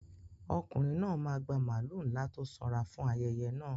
Ọkùnrin náà máa gba màlúù ńlá tó sanra fún ayẹyẹ náà.